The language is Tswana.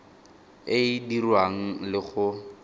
e e dirwang le go